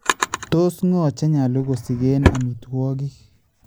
Tos ngo chenyaalu kosikeen amitwokiik?